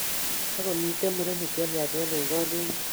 Takomiten murenik che miachen en kalejin